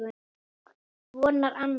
Vonar annað.